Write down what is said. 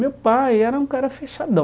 Meu pai era um cara fechadão.